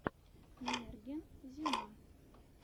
мерген зима